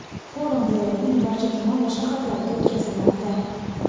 Forum viloyatning barcha tuman va shaharlarida o‘tkazilmoqda.